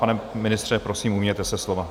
Pane ministře, prosím, ujměte se slova.